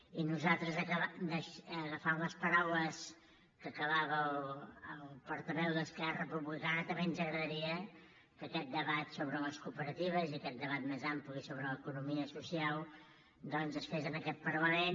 i a nosaltres agafant les paraules amb què acabava el portaveu d’esquerra republicana també ens agradaria que aquest debat sobre les cooperatives i aquest debat més ampli sobre l’economia social doncs es fes en aquest parlament